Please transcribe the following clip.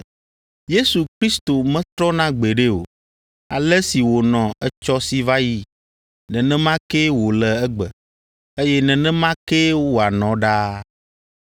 Yesu Kristo metrɔna gbeɖe o, ale si wònɔ etsɔ si va yi, nenema kee wòle egbe, eye nenema kee wòanɔ ɖaa.